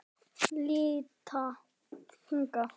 Líta hingað!